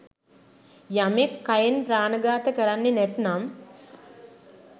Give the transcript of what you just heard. යමෙක් කයෙන් ප්‍රාණඝාත කරන්නෙ නැත්නම්